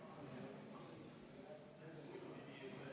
V a h e a e g